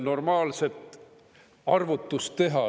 – normaalset arvutust teha.